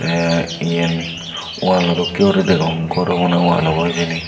tey iyen walo dokkeyuri degong gor obw na wall obow hijeni.